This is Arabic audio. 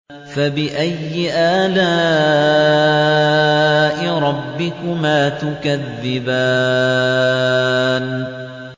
فَبِأَيِّ آلَاءِ رَبِّكُمَا تُكَذِّبَانِ